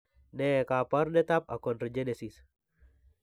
Ne kaabarunetap Achondrogenesis?